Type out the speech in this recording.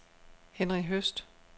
Henri Høst